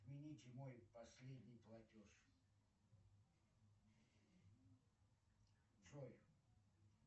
отмените мой последний платеж джой